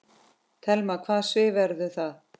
Telma: Hvaða svið verður það?